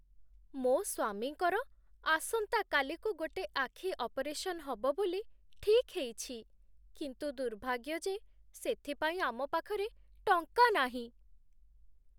ମୋ' ସ୍ୱାମୀଙ୍କର ଆସନ୍ତାକାଲିକୁ ଗୋଟେ ଆଖି ଅପରେସନ୍ ହବ ବୋଲି ଠିକ୍ ହେଇଛି, କିନ୍ତୁ ଦୁର୍ଭାଗ୍ୟ ଯେ ସେଥିପାଇଁ ଆମ ପାଖରେ ଟଙ୍କା ନାହିଁ।